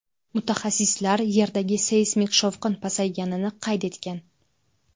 Mutaxassislar Yerdagi seysmik shovqin pasayganini qayd etgan.